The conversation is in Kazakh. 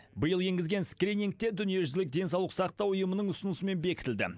биыл енгізген скрининг те дүниежүзілік денсаулық сақтау ұйымының ұсынысымен бекітілді